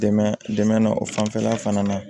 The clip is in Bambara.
Dɛmɛ dɛmɛ na o fanfɛla fana na